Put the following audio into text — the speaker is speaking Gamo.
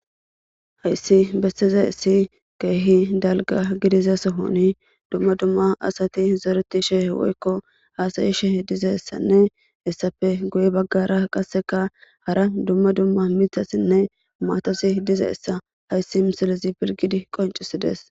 Hayssi bessize issi keehi dalga gidiza sohoni dumma dumma asati zereti she woykko haasayi sheh diza ssanne hessafe guye baggara qasseka hara dumma dumma mithasinne maatosi diza essa hayssi misilezi pirgidi qoncisides.